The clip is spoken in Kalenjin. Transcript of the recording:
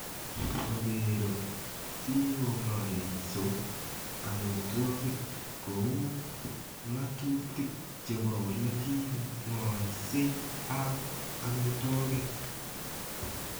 Ogeero, si ong'aiso amitwogik ko uu ng'atuutik che bo ole ki ng'olsei ap amitwogik.